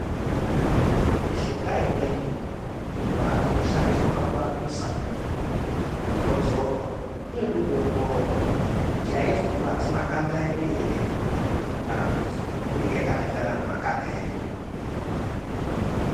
Mishonga imweni inoshandiswa pakurapisa, inodzorwa inode kuongororwa kuti aizokuwadzi makanda edu ere kana kuti inenge yakaenderana nemakanda edu.